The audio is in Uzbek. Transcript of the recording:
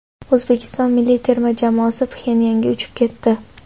O‘zbekiston milliy terma jamoasi Pxenyanga uchib ketdi.